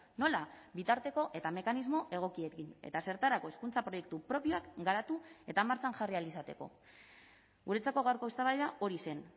nola bitarteko eta mekanismo egokiekin eta zertarako hezkuntza proiektu propioak garatu eta martxan jarri ahal izateko guretzako gaurko eztabaida hori zen